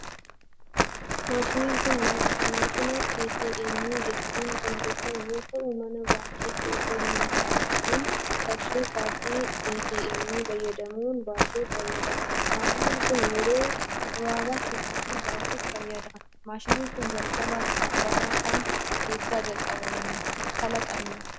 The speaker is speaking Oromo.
Maashinni kun, maashina ATM jedhamuun kan beekamu yoo ta'u, mana baankitti osoo hin argamin qarshii kaardii ATM fayyadamuun baasuuf fayyada. Maashiinni kun, yeroo gabaabaatti qarshii baasuuf fayyada. Maashinni kun jalqaba bara kam keessa kalaqame?